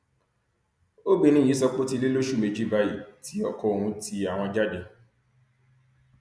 obìnrin yìí sọ pé ó ti lé lóṣù méjì báyìí tí ọkọ òun ti àwọn jáde